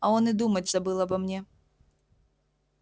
а он и думать забыл обо мне